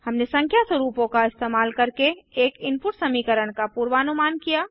हमने संख्या स्वरूपों का इस्तेमाल करके एक इनपुट समीकरण का पूर्वानुमान किया